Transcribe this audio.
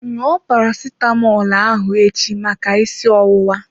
Ṅụọ Paracetamọl ahụ echi maka isi ọwụwa.